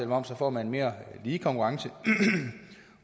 moms får man en mere lige konkurrence